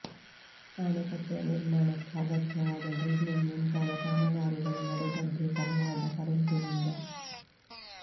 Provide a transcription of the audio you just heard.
ಆಣೆಕಟ್ಟೆಯ ನಿರ್ಮಾಣಕ್ಕೆ ಅಗತ್ಯವಾದ ಡ್ರಿಲ್ಲಿಂಗ್ ಮುಂತಾದ ಕಾಮಗಾರಿಗಳು ನಡೆದದ್ದೇ ಕನ್ನಡದ ಕರೆಂಟಿನಿಂದ